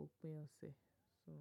òpin ọ̀sẹ̀, so.